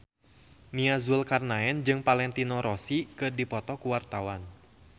Nia Zulkarnaen jeung Valentino Rossi keur dipoto ku wartawan